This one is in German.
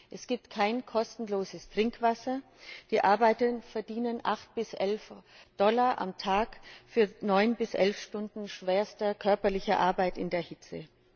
Es gibt kein kostenloses Trinkwasser, die Arbeiter verdienen 8 bis 11 Dollar am Tag für 9 bis 11 Stunden schwerster körperlicher Arbeit in der Hitze.